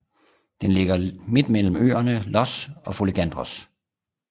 Den ligger midt mellem øerne Ios og Folegandros